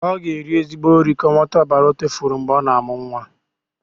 Ọ ga-eri ezigbo nri ka o nwete ọbara ọ tufuru mgbe ọ na-amụ nwa.